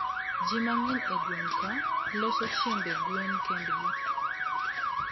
jii mangeny e gweng kaa loso chiembe gwen kendgi